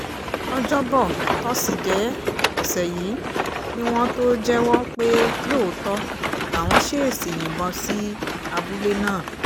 ọjọ́bọ̀ tọ́sídẹ̀ẹ́ ọ̀sẹ̀ yìí ni wọ́n tóó jẹ́wọ́ pé lóòótọ́ làwọn ṣèèṣì yìnbọn sí abúlé náà